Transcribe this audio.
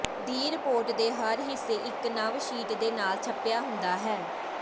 ਦੀ report ਦੇ ਹਰ ਹਿੱਸੇ ਇੱਕ ਨਵ ਸ਼ੀਟ ਦੇ ਨਾਲ ਛਪਿਆ ਹੁੰਦਾ ਹੈ